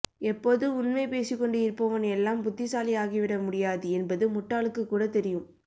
எப்போதும் உண்மை பேசி கொண்டு இருப்பவன் எல்லாம் புத்திசாலி ஆகி விட முடியாது என்பது முட்டாளுக்கு கூட தெரியும்